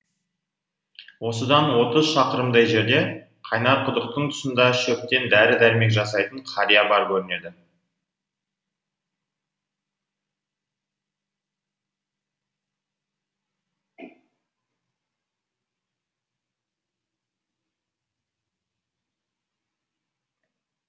осыдан отыз шақырымдай жерде қайнарқұдықтың тұсында шөптен дәрі дәрмек жасайтын қария бар көрінеді